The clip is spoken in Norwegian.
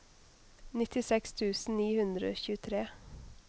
nittiseks tusen ni hundre og tjuetre